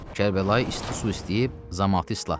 Kərbəlayı isti su istəyib zamatı islatdı.